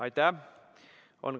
Aitäh!